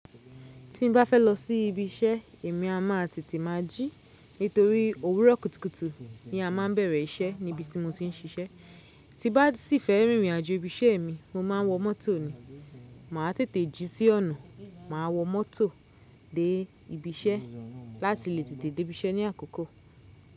Tí n bá fẹ́ lọ sí ibi iṣẹ́ èmi a má tètè máa jí, nítorí òwúrọ̀ kùtùkùtù ni a máa ń bẹ̀rẹ̀ iṣẹ́ níbi tí mo ti ń ṣiṣẹ́. Ti bá sì fẹ́ rìnrìn àjò ibi iṣẹ́ mi mo máa ń wọ mọ́tò ni. Máa tètè jí sí ọ̀nà, máa wọ mọ́tò dé ibi iṣẹ́ láti lè tètè dé ibi iṣẹ́ ní àkọ́kọ́.